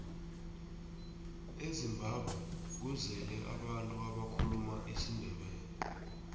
ezimbabwe kuzele abantu abakhuluma isindebele